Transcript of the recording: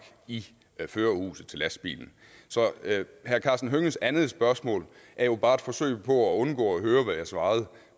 i førerhuset til lastbilen så herre karsten hønges andet spørgsmål er jo bare et forsøg på at undgå at høre hvad jeg svarede